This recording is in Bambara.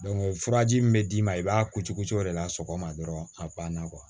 furaji min bɛ d'i ma i b'a ko cokocɛ o de la sɔgɔma dɔrɔn a banna